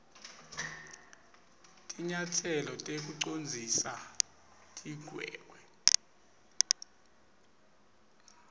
tinyatselo tekucondzisa tigwegwe